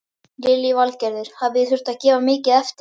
Lillý Valgerður: Hafi þið þurft að gefa mikið eftir?